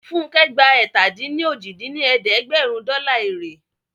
Funkẹ́ gba ẹ̀ta-dín-ní-ojì dín ní ẹ̀ẹ́dẹ́gbẹ́rún dọ́là èrè iṣẹ́